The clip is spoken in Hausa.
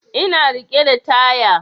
Ina riƙe da taya